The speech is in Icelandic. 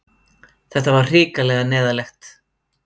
Þetta var hrikalega neyðarlegt.